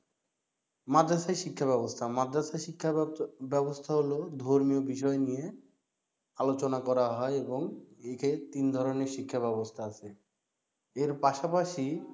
মাদ্রাসায় শিক্ষা ব্যাব ব্যাবস্থা মাদ্রাসা শিক্ষা ব্যাবস্থা হলো ধর্মীয় বিষয় নিয়ে আলোচনা করা হয় এবং একে তিন ধরনের শিক্ষা ব্যাবস্থা আছে এর পাশাপাশি